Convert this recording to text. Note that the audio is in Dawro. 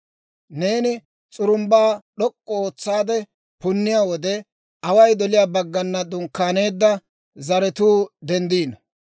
Neeni s'urumbbaa d'ok'k'u ootsaade punniyaa wode, away doliyaa baggana dunkkaaneedda zaratuu denddino.